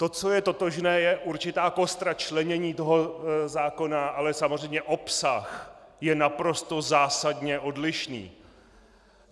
To, co je totožné, je určitá kostra členění toho zákona, ale samozřejmě obsah je naprosto zásadně odlišný.